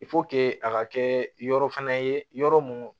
a ka kɛ yɔrɔ fɛnɛ ye yɔrɔ mun